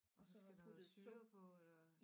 Og så noget syre på eller